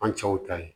An cɛw ta ye